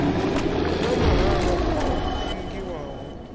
hu na mahalwa o ingiwaho